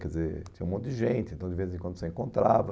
Quer dizer, tinha um monte de gente, então de vez em quando você encontrava.